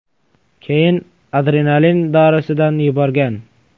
Keyin adrenalin dorisidan yuborgan.